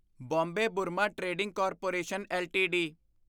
Bombay Burmah trading corporation LTD